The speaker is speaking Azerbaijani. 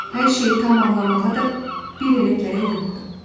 Hər şeyi tam anlamağa da bir elə gərək yoxdur.